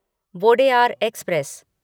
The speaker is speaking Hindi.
वोडेयार एक्सप्रेस